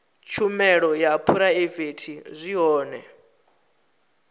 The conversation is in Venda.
tshumelo dza phuraivete zwi hone